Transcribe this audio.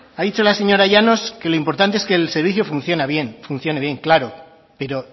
ha dicho la señora llanos que lo importante es que el servicio funcione bien claro pero